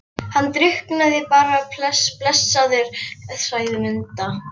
Hann drukknaði bara blessaður, sagði Munda.